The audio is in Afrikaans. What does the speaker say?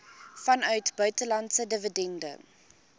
vanuit buitelandse dividende